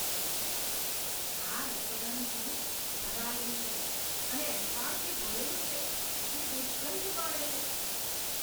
આ રસોડાનું સિંક ભરાયેલું છે અને એંઠવાડથી ભરેલું છે જે દુર્ગંધ મારે છે.